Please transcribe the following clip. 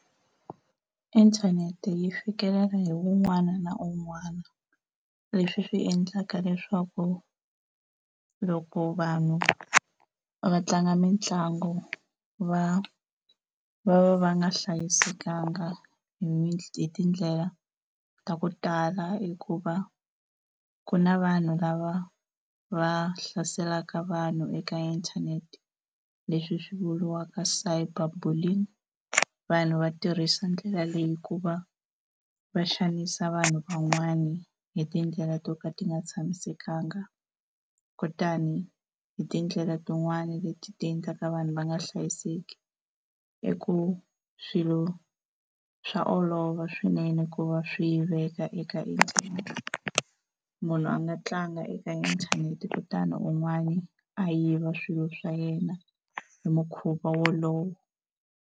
Inthanete yi fikelela hi un'wana na un'wana leswi swi endlaka leswaku loko vanhu va tlanga mitlangu va va va va nga hlayisekanga hi tindlela ta ku tala, hikuva ku na vanhu lava va hlaselaka vanhu eka inthanete leswi swi vuriwaka cyber bullying. Vanhu va tirhisa ndlela leyi ku va va xanisa vanhu van'wani hi tindlela to ka ti nga tshamisekanga kutani hi tindlela tin'wani leti tiendlaka vanhu va nga hlayiseki. I ku swilo swa olova swinene ku va swiendleka eka inthanete, munhu a nga tlanga eka inthanete kutani un'wana a yiva swilo swa yena hi mukhuva wolowo.